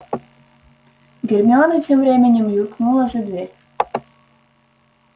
гермиона тем временем юркнула за дверь